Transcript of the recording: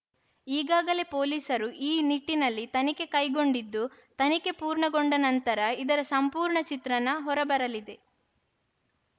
ಈಗಾಗಲೇ ಪೊಲೀಸರು ಈ ನಿಟ್ಟಿನಲ್ಲಿ ತನಿಖೆ ಕೈಗೊಂಡಿದ್ದು ತನಿಖೆ ಪೂರ್ಣಗೊಂಡ ನಂತರ ಇದರ ಸಂಪೂರ್ಣ ಚಿತ್ರಣ ಹೊರಬರಲಿದೆ